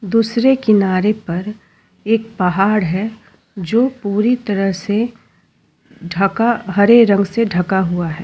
दूसरे किनारे पर एक पहाड़ है जो पूरी तरह से ढका हरे रंग से ढका हुआ है।